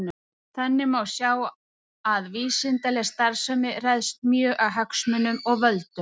Þannig má sjá að vísindaleg starfsemi ræðst mjög af hagsmunum og völdum.